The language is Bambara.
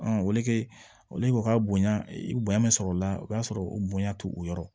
olu ka bonya i bɛ bonya bɛ sɔrɔ o la o b'a sɔrɔ o bonya t'o o yɔrɔ ye